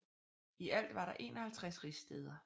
I alt var der 51 rigsstæder